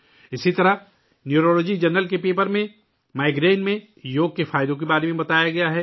اسی طرح neurology journal کے مقالے میں مائیگرین میں یوگا کے فوائد بتائے گئے ہیں